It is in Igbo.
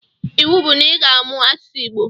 Iwu bu na iga amụ asụsụ igbo!!